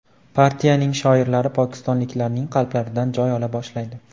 Partiyaning shiorlari pokistonliklarning qalblaridan joy ola boshlaydi.